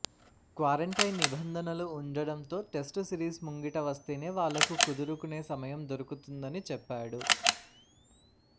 quarantine నిబంధనలు ఉండటంతో test series ముంగిట వస్తేనే వాళ్లకు కుదురుకునే సమయం దొరుకుతుందని చెప్పాడు